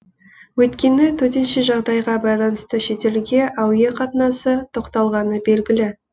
өйткені төтенше жағдайға байланысты шетелге әуе қатынасы тоқталғаны белгілі